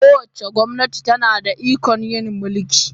Kowace gwamnati tana da ikon yin mulki